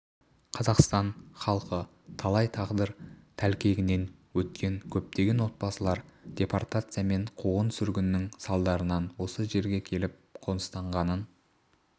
қазақстан халқы талай тағдыр тәлкегінен өткен көптеген отбасылар депортация мен қуғын-сүргіннің салдарынан осы жерге келіп қоныстанғанын